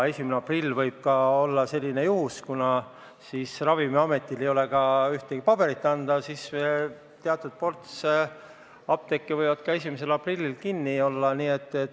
Ja võib juhtuda nii, et kuna Ravimiametil ei ole ka ühtegi paberit anda, siis teatud ports apteeke võib 1. aprillil kinni olla.